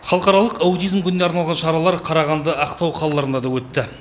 халықаралық аутизм күніне арналған шаралар қарағанды ақтау қалаларында да өтті